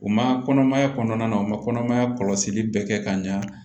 U ma kɔnɔmaya kɔnɔna u ma kɔnɔmaya kɔlɔsili bɛɛ kɛ ka ɲa